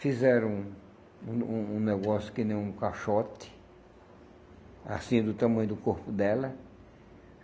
Fizeram um um um um negócio que nem um caixote, assim, do tamanho do corpo dela.